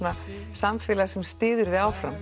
samfélag sem styður þig áfram